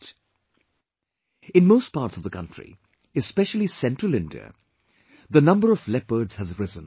" In most parts of the country, especially central India, the number of leopards has risen